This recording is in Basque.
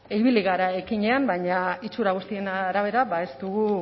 ibili gara ekinean baina itxura guztien arabera ba